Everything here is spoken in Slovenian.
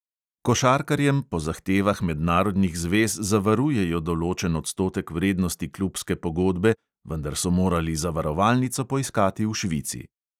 Košarkarjem po zahtevah mednarodnih zvez zavarujejo določen odstotek vrednosti klubske pogodbe, vendar so morali zavarovalnico poiskati v švici.